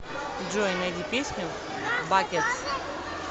джой найди песню бакетс